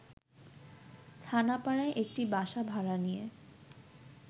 থানাপাড়ায় একটি বাসা ভাড়া নিয়ে